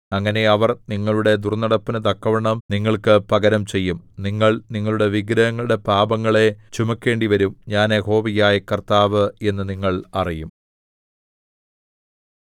അങ്ങനെ അവർ നിങ്ങളുടെ ദുർന്നടപ്പിനു തക്കവണ്ണം നിങ്ങൾക്ക് പകരം ചെയ്യും നിങ്ങൾ നിങ്ങളുടെ വിഗ്രഹങ്ങളുടെ പാപങ്ങളെ ചുമക്കേണ്ടിവരും ഞാൻ യഹോവയായ കർത്താവ് എന്നു നിങ്ങൾ അറിയും